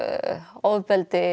ofbeldi